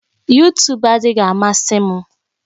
Yutub adịghị amasị m